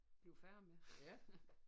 Bliver færdig med